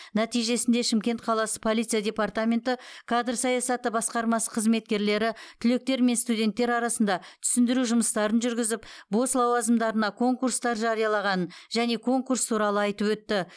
нәтижесінде шымкент қаласы полиция департаменті кадр саясаты басқармасы қызметкерлері түлектер мен студенттер арасында түсіндіру жұмыстарын жүргізіп бос лауазымдарына конкурстар жариялағанын және конкурс туралы айтып өтті